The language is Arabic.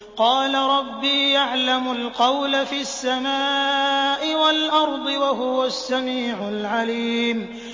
قَالَ رَبِّي يَعْلَمُ الْقَوْلَ فِي السَّمَاءِ وَالْأَرْضِ ۖ وَهُوَ السَّمِيعُ الْعَلِيمُ